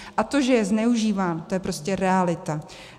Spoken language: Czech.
A to, že je zneužíván, to je prostě realita.